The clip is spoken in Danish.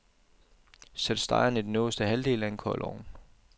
Sæt stegen i den øverste halvdel af en kold ovn.